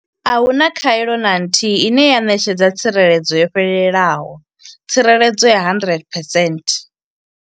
A hu na khaelo na nthihi ine ya ṋetshedza tsireledzo yo fhelelaho tsireledzo ya 100 percent